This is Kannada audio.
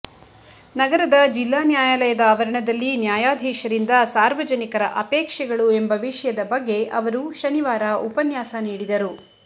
ನಗರದ ಜಿಲ್ಲಾ ನ್ಯಾಯಾಲಯದ ಆವರಣದಲ್ಲಿ ನ್ಯಾಯಾಧೀಶರಿಂದ ಸಾರ್ವಜನಿಕರ ಅಪೇಕ್ಷೆಗಳು ಎಂಬ ವಿಷಯದ ಬಗ್ಗೆ ಅವರು ಶನಿವಾರ ಉಪನ್ಯಾಸ ನೀಡಿದರು